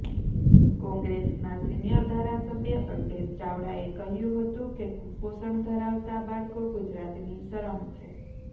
કોંગ્રેસના સિનિયર ધારાસભ્ય અલ્પેશ ચાવડાએ કહ્યું હતું કે કુપોષણ ધરાવતા બાળકો ગુજરાતની શરમ છે